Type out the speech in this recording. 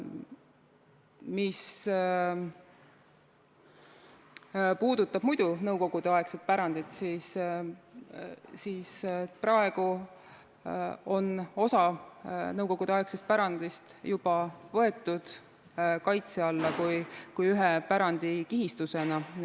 Mis puudutab muidu nõukogudeaegset pärandit, siis praegu on osa nõukogudeaegsest pärandist juba võetud kaitse alla ühe pärandikihistusena.